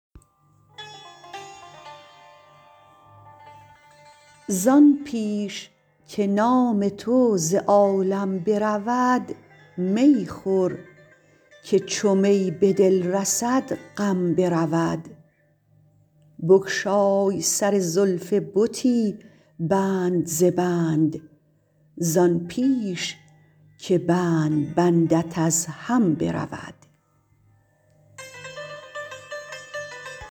زان پیش که نام تو ز عالم برود می خور که چو می به دل رسد غم برود بگشای سر زلف بتی بند ز بند زان پیش که بند بندت از هم برود